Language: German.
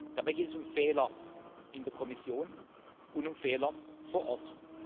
Dabei geht es um Fehler in der Kommission und um Fehler vor Ort.